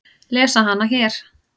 Lesa hana hér.